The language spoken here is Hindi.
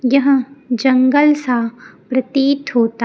यह जंगल सा प्रतीत होता।